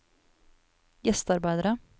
gjestearbeidere